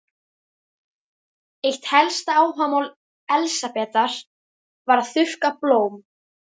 Eitt helsta áhugamál Elsabetar var að þurrka blóm.